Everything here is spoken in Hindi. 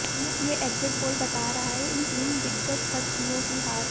ये एग्जिट पोल बता रहा है इन तीन दिग्गज हस्तियों की हार